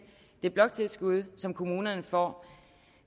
det bloktilskud som kommunerne får